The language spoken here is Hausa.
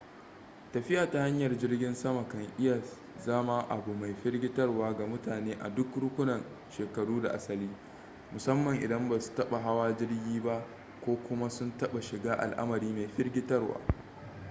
tafiya ta hanyar jirgin sama kan iya zama abu mai firgitarwa ga mutane a duk rukunin shekaru da asali musamman idan ba su taɓa hawa jirgi ba ko kuma sun taɓa shiga al'amari mai firgitarwa